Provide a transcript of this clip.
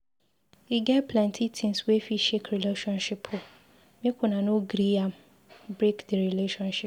E get plenty tins wey fit shake relationship o, make una no gree am break di relationship.